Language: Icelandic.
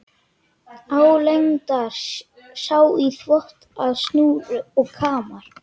Álengdar sá í þvott á snúru og kamar.